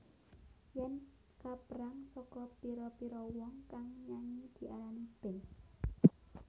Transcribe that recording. Yen kaperang saka pira pira wong kang nyanyi diarani band